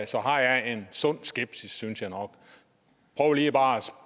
så har jeg en sund skepsis synes jeg nok prøv lige og